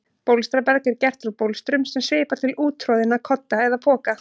Bólstraberg er gert úr bólstrum sem svipar til úttroðinna kodda eða poka.